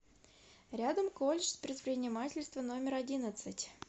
рядом колледж предпринимательства номер одиннадцать